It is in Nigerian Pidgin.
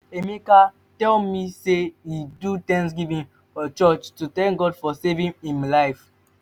emeka tell me say he do thanksgiving for church to thank god for saving im life